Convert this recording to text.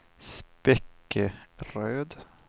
Spekeröd